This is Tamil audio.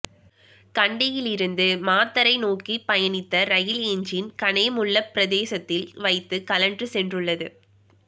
கண்டியில் இருந்து மாத்தறை நோக்கி பயணித்த ரயில் என்ஜின் கனேமுல்ல பிரதேசத்தில் வைத்து கழன்று சென்றுள்ளது